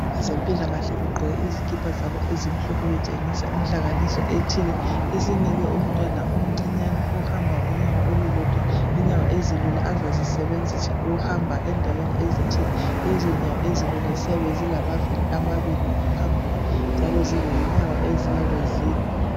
Abezempilakahle begqoke izikipa zabo ezimhlophe betshengisa inhlanganiso ethile, esinike umntwana omncinyane ohamba ngonyawo olulodwa inyawo ezilula azazisenzisa ukuhamba endaweni ezithile. Lezonyawo ezilula ziyabe zilamavili amabili ayi2 ngaphambili. Njalo zilenyawo eziyabe zinye.